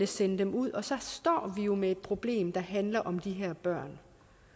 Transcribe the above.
sende dem ud og så står vi jo med et problem der handler om de her børn